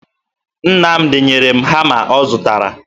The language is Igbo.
Nnamdị nyere m hama ọ zụtara